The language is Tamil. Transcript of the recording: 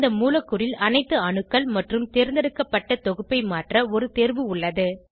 இந்த மூலக்கூறில் அனைத்து அணுக்கள் அல்லது தேர்ந்தெடுக்கப்பட்ட தொகுப்பை மாற்ற ஒரு தேர்வு உள்ளது